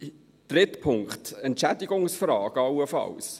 Dritter Punkt: Entschädigungsfrage allenfalls.